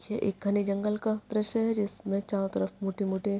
ये एक घने जंगल का द्रश्य है जिसमे चारो तरफ मोठे मोठे--